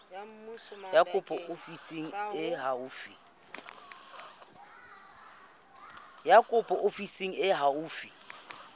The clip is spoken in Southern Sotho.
ya kopo ofising e haufi